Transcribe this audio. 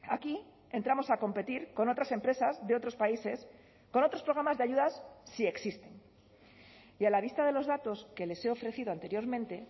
aquí entramos a competir con otras empresas de otros países con otros programas de ayudas si existen y a la vista de los datos que les he ofrecido anteriormente